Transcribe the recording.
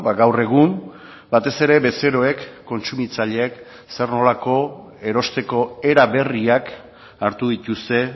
gaur egun batez ere bezeroek kontsumitzaileek zer nolako erosteko era berriak hartu dituzte